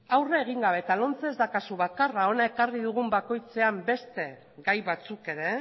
aurre egin gabe lomce ez da kasu bakarra hona ekarri dugun bakoitzean beste gai batzuk ere